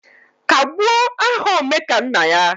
Kagbuo aha Omekannaya